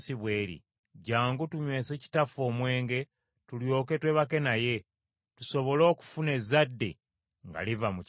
Jjangu tunywese kitaffe omwenge, tulyoke twebake naye, tusobole okufuna ezzadde nga liva mu kitaffe.”